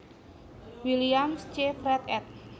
Williams C Fred ed